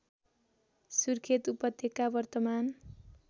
सुर्खेत उपत्यका वर्तमान